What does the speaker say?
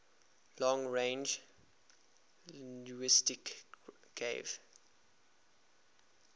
long range linguistics gave